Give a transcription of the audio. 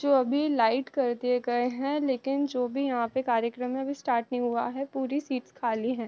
जो अभी लाइट कर दिए गए है लेकिन जो भी यहाँ पे कार्यक्रम अभी स्टार्ट नहीं हुआ है पूरी सीट्स खाली हैं।